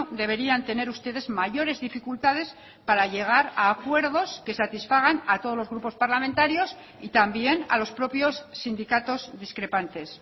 deberían tener ustedes mayores dificultades para llegar a acuerdos que satisfagan a todos los grupos parlamentarios y también a los propios sindicatos discrepantes